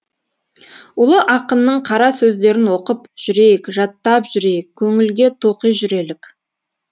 ұлы ақынның қара сөздерін оқып жүрейік жаттап жүрейік көңілге тоқи жүрелік